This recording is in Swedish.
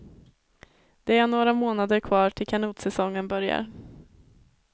Det är några månader kvar till kanotsäsongen börjar.